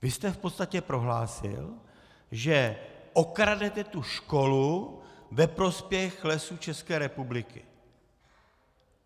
Vy jste v podstatě prohlásil, že okradete tu školu ve prospěch Lesů České republiky.